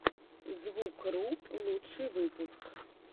звукру лучший выпуск